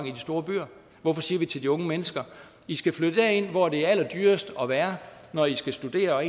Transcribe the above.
i de store byer hvorfor siger vi til de unge mennesker i skal flytte derind hvor det er allerdyrest at være når i skal studere og